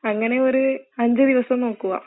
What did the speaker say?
അങ്ങനെ ഒരു അഞ്ച് ദിവസം നോക്കുക.